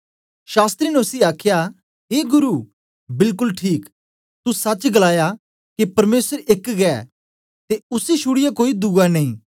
शास्त्री ने उसी आखया ए गुरु बिलकुल ठीक तू सच गलाया के परमेसर एक गै ते उसी छुड़ीयै कोई दुआ नेई